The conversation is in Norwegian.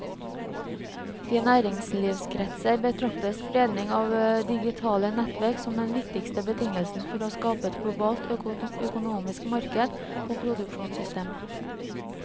I næringslivskretser betraktes spredningen av digitale nettverk som den viktigste betingelsen for å skape et globalt økonomisk marked og produksjonssystem.